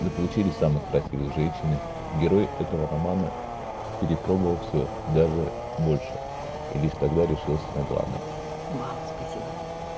за получили самых красивых женщин и герой этого романа перепробовала всё даже больше и лишь тогда решился на главной вау спасибо